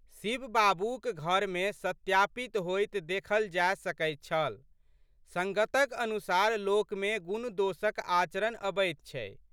शिव बाबूक घरमे सत्यापित होइत देखल जाए सकैत छलसंगतक अनुसार लोकमे गुणदोषक आचरण अबैत छै।